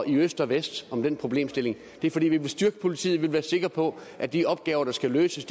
i øst og vest om den problemstilling det er fordi vi vil styrke politiet vi vil være sikre på at de opgaver der skal løses